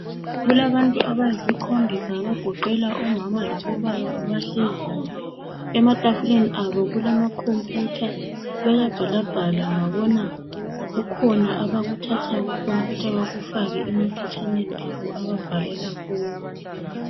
Kulabantu abayisikhombisa abagoqela omama labobaba abahleziyo. Ematafuleni abo kulama khompiyutha, bayabhalabhala ngiyabona kukhona abakuthatha kukhompiyutha bakufake emaphetshaneni abo ababhalela kuwo.